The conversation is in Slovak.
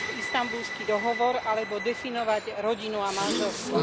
Istanbulský dohovor alebo definovať rodinu a manželstvo.